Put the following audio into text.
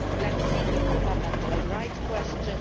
Let us see the fundamental rights question.